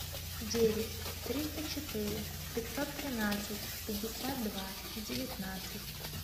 девять триста четыре пятьсот тринадцать пятьдесят два девятнадцать